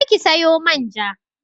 Je ki sayo man ja